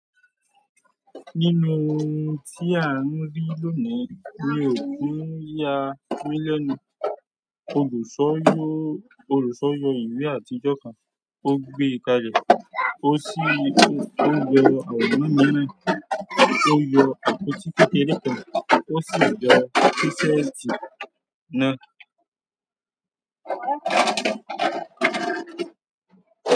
Nínú ohun tí à ń rí lónìí, mi ò kin yá mí lẹ́nu. Olùṣọ́ yọ ìwé àtijọ́ kan, ó gbé e kalẹ̀, ó sì yọ àwòrán mìíràn, ó yọ àpótí kékeré kan, ó sì yọ sísẹ́ẹ̀tì náà.